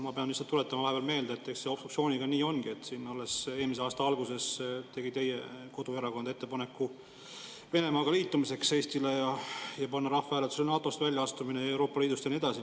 Ma pean lihtsalt meelde tuletama, et alles eelmise aasta alguses tegi teie koduerakond ettepaneku Eesti liitumiseks Venemaaga ja panna rahvahääletusele NATO-st väljaastumine ja Euroopa Liidust ja nii edasi.